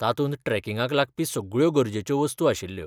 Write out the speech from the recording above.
तातूंत ट्रॅकिंगाक लागपी सगळ्यो गरजेच्यो वस्तू आशिल्ल्यो.